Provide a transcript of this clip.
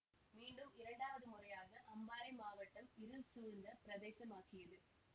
மீண்டும் இரண்டாவது முறையாக அம்பாறை மாவட்டம் இருள் சூழ்ந்த பிரதேசமாகியது